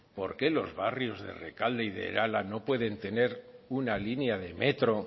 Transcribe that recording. por qué los barrios de rekalde y de irala no pueden tener una línea de metro